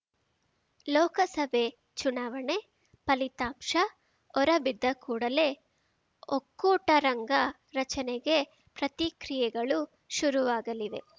ಲೋಕಸಭೆ ಚುನಾವಣೆ ಫಲಿತಾಂಶ ಹೊರಬಿದ್ದಕೂಡಲೇ ಒಕ್ಕೂಟ ರಂಗ ರಚನೆಗೆ ಪ್ರತಿ ಕ್ರಿಯೆಗಳು ಶುರುವಾಗಲಿವೆ